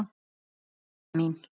Elsku Didda mín.